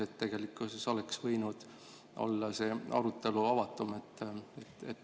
Nii et tegelikult oleks võinud olla see arutelu avatum.